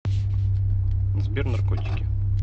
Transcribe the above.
сбер наркотики